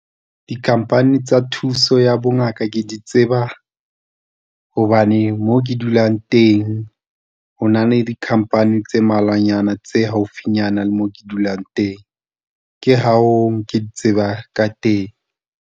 Dikhamphani tsa thuso ya bongaka ke di tseba hobane moo ke dulang teng ho na le dikhamphani tse mmalwanyana tse haufinyana le mo ke dulang teng, ke ha ke di tseba ka teng.